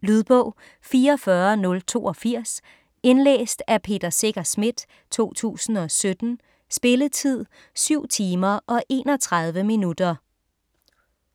Lydbog 44082 Indlæst af Peter Secher Schmidt, 2017. Spilletid: 7 timer, 31 minutter.